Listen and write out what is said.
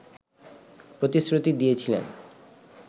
প্রতিশ্রুতি দিয়েছিলেন